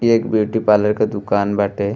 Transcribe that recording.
इ एक beauty parlour क दुकान बाटे।